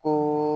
O